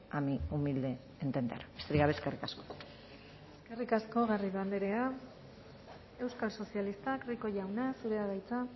a mi humilde entender besterik gabe eskerrik asko eskerrik asko garrido andrea euskal sozialistak rico jauna zurea da hitza